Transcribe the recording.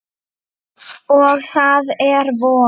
Og það er vor.